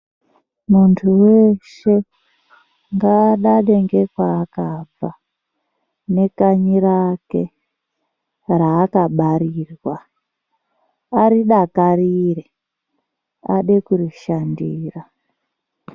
Munthu weshe ngaadade ngekwaakabva nekanyi rake raakabarirwa aridakarire ade kurishandira.